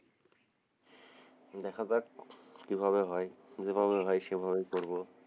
দেখা যাক কিভাবে হয় যেভাবে হয় সেভাবেই করবো,